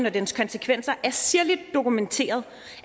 og dens konsekvenser er sirligt dokumenteret